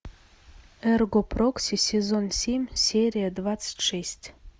эрго прокси сезон семь серия двадцать шесть